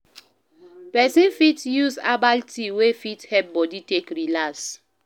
Person fit use herbal tea wey fit help body take relax